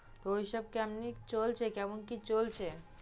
ঐসব কেমনে চলছে, কেমন কি চলছে?